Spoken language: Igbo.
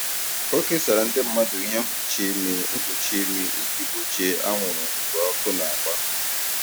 O kesara ndị mmadụ ihe mkpuchi imi mkpuchi imi iji gbochie anwụrụ mgbe ọkụ na-agba.